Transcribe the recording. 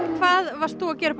hvað varst þú að gera upp